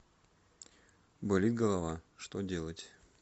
болит голова что делать